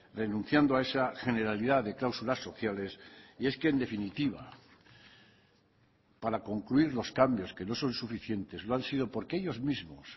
renunciando a esa generalidad de cláusulas sociales y es que en definitiva para concluir los cambios que no son suficientes lo han sido porque ellos mismos